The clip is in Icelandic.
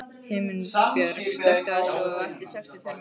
Himinbjörg, slökktu á þessu eftir sextíu og tvær mínútur.